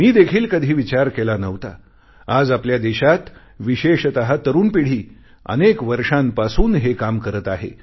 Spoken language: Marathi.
मी देखील कधी विचार केला नव्हता आज आपल्या देशात विशेषतः तरुण पिढी अनेक वर्षांपासून हे काम करत आहे